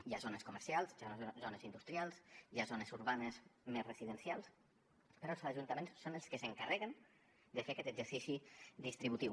hi ha zones comercials hi ha zones industrials hi ha zones urbanes més residencials però els ajuntaments són els que s’encarreguen de fer aquest exercici distributiu